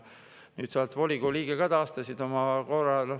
Nüüd sa oled volikogu liige ka, taastasid oma …